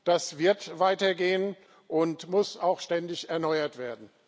Das wird weitergehen und muss auch ständig erneuert werden.